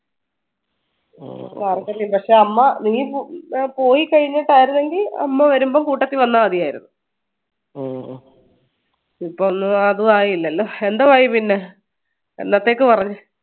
പക്ഷേ അമ്മ നീ പോയി കഴിഞ്ഞിട്ടായിരുന്നെങ്കിൽ അമ്മ വരുമ്പോ കൂട്ടത്തി വന്നാ മതിയായിരുന്നു ഇപ്പോ ഒന്നും അതു ആയില്ലല്ലോ എന്തോ ആയി പിന്നെ എന്നത്തേക്ക് പറഞ്ഞു